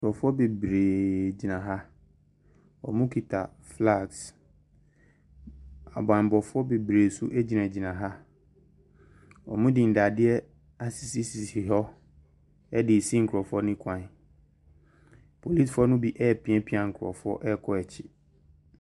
Nkurɔfoɔ bebreeeee tena ha. Wɔkita flags. Abammɔfoɔ bebree nso gyinagyina ha. Wɔde nnadeɛ asisisisi hɔ de resi nkurɔfoɔ no kwan Polisifoɔ no bi repiapia nkurɔfoɔ kɔ akyiri.